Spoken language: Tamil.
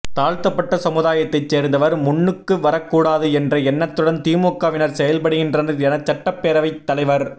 தாழ்த்தப்பட்ட சமுதாயத்தைச் சேர்ந்தவர் முன்னுக்கு வரக் கூடாது என்ற எண்ணத்துடன் திமுகவினர் செயல்படுகின்றனர் என சட்டப் பேரவைத் தலைவர்